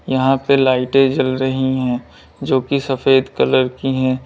यहां पे लाइटें जल रही हैं जो कि सफेद कलर की हैं।